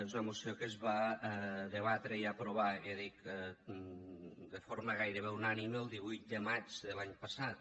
és una moció que es va debatre i aprovar ja dic de forma gairebé unànime el divuit de maig de l’any passat